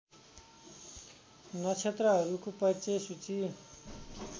नक्षत्रहरूको परिचय सूची